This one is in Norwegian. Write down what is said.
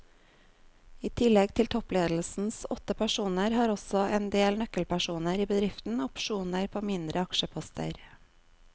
I tillegg til toppledelsens åtte personer har også en del nøkkelpersoner i bedriften opsjoner på mindre aksjeposter.